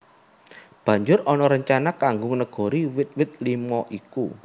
Banjur ana rencana kanggo negori wit wit limo iku